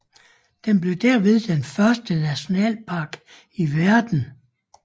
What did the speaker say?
Den blev derved den første nationalpark i verden